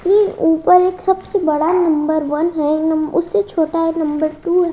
की ऊपर एक सबसे बड़ा नंबर वन है नं उससे छोटा है नंबर टू --